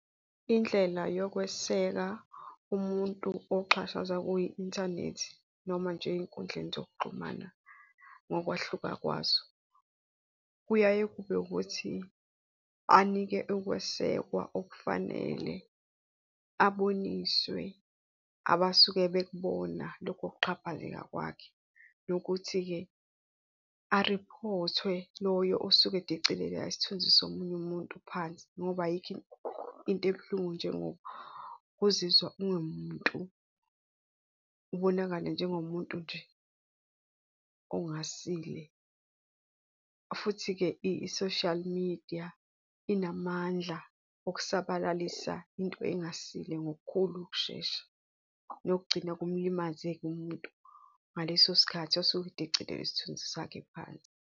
Indlela yokweseka umuntu oxhashazwa kwi-inthanethi, noma nje ey'nkundleni zokuxhumana ngokwahluka kwazo. Kuyaye kube ukuthi anike ukwesekwa okufanele, aboniswe abasuke bekubona lokho kuxhaphazeka kwakhe. Nokuthi-ke ariphothwe loyo osuke edicelela isithunzi somunye umuntu phansi ngoba ayikho into ebuhlungu njengokuzizwa ungamuntu. Ubonakale njengomuntu nje ongasile, futhi-ke i-social media inamandla okusabalalisa into engasile ngokukhulu ukushesha, nokugcina kumlimaze-ke umuntu ngaleso sikhathi osuke edecilele isithunzi sakhe phansi.